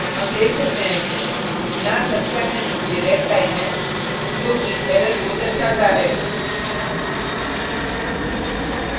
हम देख सकते हैं कि यहाँ संख्या के नीचे red line है जो कि error को दर्शाता है